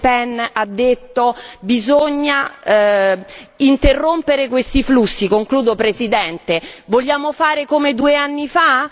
Le Pen ha detto bisogna interrompere questi flussi concludo Presidente vogliamo fare come due anni fa?